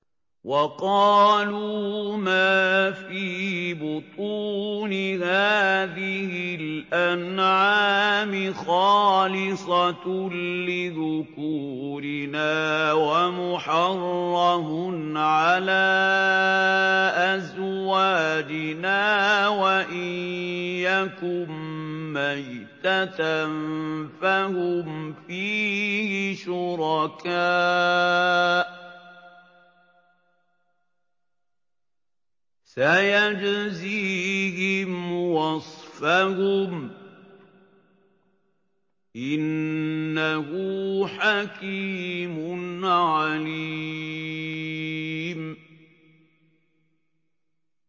وَقَالُوا مَا فِي بُطُونِ هَٰذِهِ الْأَنْعَامِ خَالِصَةٌ لِّذُكُورِنَا وَمُحَرَّمٌ عَلَىٰ أَزْوَاجِنَا ۖ وَإِن يَكُن مَّيْتَةً فَهُمْ فِيهِ شُرَكَاءُ ۚ سَيَجْزِيهِمْ وَصْفَهُمْ ۚ إِنَّهُ حَكِيمٌ عَلِيمٌ